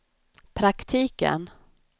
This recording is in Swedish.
praktiken